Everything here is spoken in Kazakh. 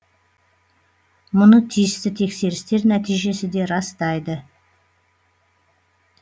мұны тиісті тексерістер нәтижесі де растайды